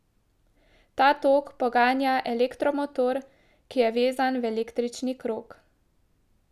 Ta tok poganja elektromotor, ki je vezan v električni krog.